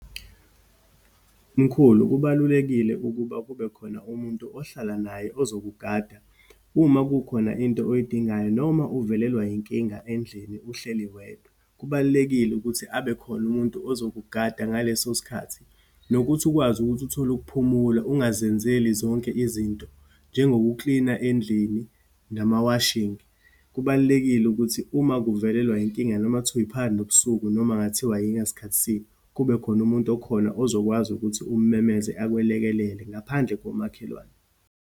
Mkhulu, kubalulekile ukuba kube khona umuntu ohlala naye, ozokugada uma kukhona into oyidingayo, noma uvelelwa yinkinga endlini uhleli wedwa. Kubalulekile ukuthi abe khona umuntu ozokugada ngaleso sikhathi, nokuthi ukwazi ukuthi uthole ukuphumula, ungazenzeli zonke izinto, njengokuklina endlini, nama-washing. Kubalulekile ukuthi uma kuvelelwe inkinga, noma kuthiwa yiphakathi nobusuku, noma kungathiwa yingasikhathisini, kube khona umuntu okhona, ozokwazi ukuthi umemeze, akulekelele ngaphandle komakhelwane.